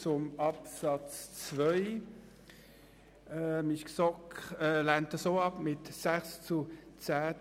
Zu Absatz 2: Die GSoK-Mehrheit hat diesen Antrag mit 6 zu 10 Stimmen bei 0 Enthaltungen ebenfalls abgelehnt.